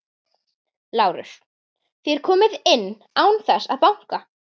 LÁRUS: Þér komið inn án þess að banka.